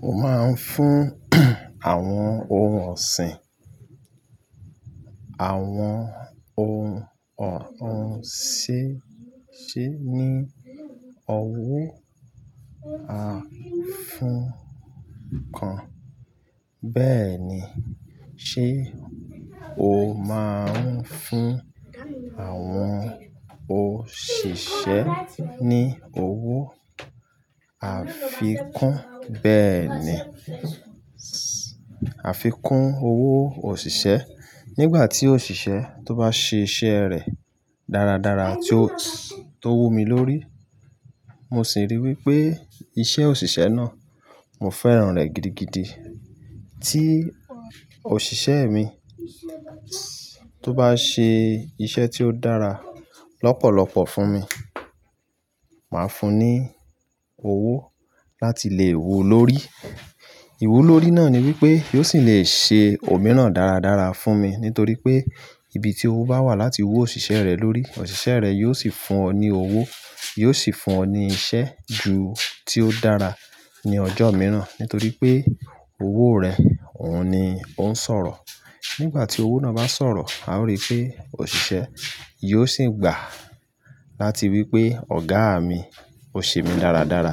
Mo máa ń fún àwọn ohun ọ̀sìn, àwọn ohun ọ̀hún sé-- sé ní owó àfíkún. Bẹ́ẹ̀ ni, ṣe o máa ń fún àwọn òṣìṣẹ́ ní owó àfikún? Bẹ́ẹ̀ ni, àfikún owó òṣìṣẹ́. Nígbà tí òṣìṣẹ́ tó bá ṣe iṣẹ́ rẹ̀ dáradára tí ó-- tó wù mí lórí, mo sì rí wí pé iṣẹ́ òṣìṣẹ́ náà, mo fẹ́ràn rẹ̀ gidigidi. Tí òṣìṣẹ́ mi tó bá ṣe iṣẹ́ tí ó dára lọ́pọ̀lọpọ̀ fún mi, màá fún un ní owó láti lè wù ú lórí. Iwú lórí náà ni wípé yóò sì lè ṣe òmíràn dáradára fún mi nítorí pé ibi tí ó bá wà láti wù òṣìṣẹ́ rẹ̀ lórí, òṣìṣẹ́ rẹ̀ yóò sì fún ọ ní owó, yóò sì fún ọ ní iṣẹ́ ju tí ó dára ní ọjọ́ mìíràn nítorí pé owó rẹ̀ òun ni ó ń sọ̀rọ̀. Nígbà tí owó náà bá sọ̀rọ̀, a ó rí pé òṣìṣẹ́ yóò sì gbà láti wí pé "Ọ̀gá mi, o ṣe mí dáradára.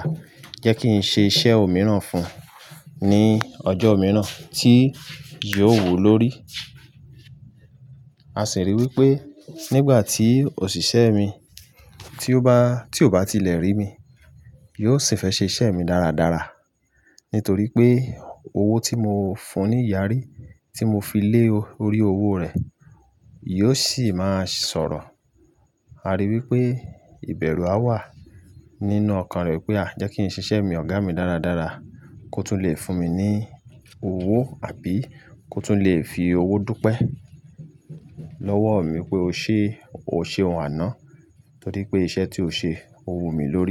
Jẹ́ kí n ṣe iṣẹ́ òmíràn fún ní ọjọ́ mìíràn tí yóò wùú lórí." A sì rí i wípé nígbà tí òṣìṣẹ́ mi tí ó bá-- tí ò bá tilẹ̀ rí mi, yóò sì fẹ́ ṣe iṣẹ́ mi dáradára. Nítorí pé owó tí mo fún un ní ìyàrí tí mo fi lé lórí owó rẹ̀ yóò sì máa sọ̀rọ̀. A rí i wípé ìbẹ̀rù á wà nínú ọkàn rẹ̀ pé ah "jẹ́ kí n ṣe iṣẹ́ mi Ọ̀gá mi dáradára kó tún lè fún mi ní owó àbí kó tún lè fi owó dúpẹ́ lọ́wọ́ mi pé o ṣe o o ṣe ohun àná nítorí pé iṣẹ́ tí o ṣe, ó wù mí lórí."